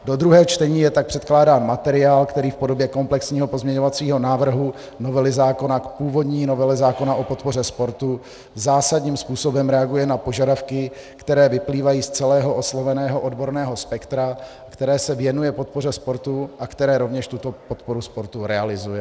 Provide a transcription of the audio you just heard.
Do druhého čtení je tak předkládán materiál, který v podobě komplexního pozměňovacího návrhu novely zákona v původní novele zákona o podpoře sportu zásadním způsobem reaguje na požadavky, které vyplývají z celého osloveného odborného spektra, které se věnuje podpoře sportu a které rovněž tuto podporu sportu realizuje.